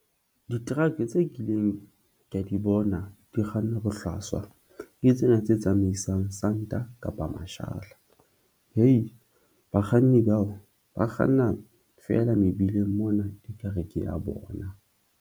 Di-truck tse kileng ka di bona di kgannwa bohlaswa ke tsena tse tsamaisang santa kapa mashala hee bakganni bao ba kganna fela mebileng mona e ka re ke ya bona.